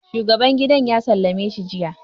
shuagaban gidan ya sallame si jiya